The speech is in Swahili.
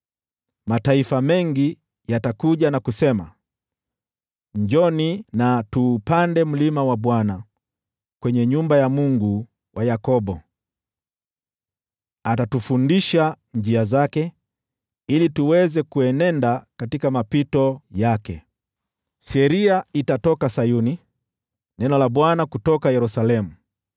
Mataifa mengi yatakuja na kusema, “Njooni, twendeni mlimani mwa Bwana , kwenye nyumba ya Mungu wa Yakobo. Atatufundisha njia zake, ili tuweze kuenenda katika mapito yake.” Sheria itatoka Sayuni, neno la Bwana litatoka Yerusalemu.